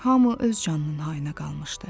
Hamı öz canının hayına qalmışdı.